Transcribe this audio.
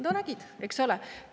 No nägid, eks ole!